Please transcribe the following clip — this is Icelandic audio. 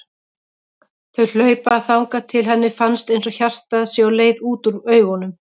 Þau hlaupa þangað til henni finnst einsog hjartað sé á leið út úr augunum.